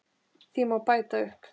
Því má bæta upp